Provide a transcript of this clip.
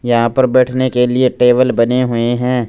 यहां पर बैठने के लिए टेबल बने हुए हैं।